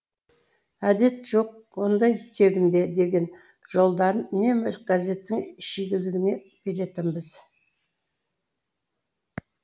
әдет жоқ ондай тегінде деген жолдарын үнемі газеттің шигеліне беретінбіз